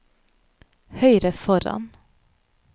høyre foran